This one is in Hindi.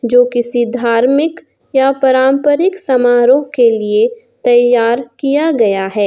जो किसी धार्मिक या पारंपरिक समारोह के लिए तैयार किया गया है।